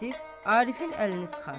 Vasif Arifin əlini sıxar.